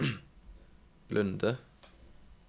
Lunde